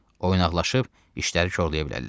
Oynaqlaşıb işləri korlaya bilərlər.